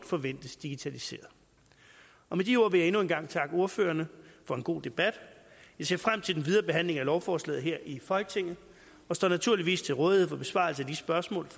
forventes digitaliseret med de ord vil jeg endnu en gang takke ordførerne for en god debat jeg ser frem til den videre behandling af lovforslaget her i folketinget og står naturligvis til rådighed for besvarelse af de spørgsmål